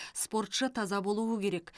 спортшы таза болуы керек